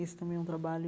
Esse também é um trabalho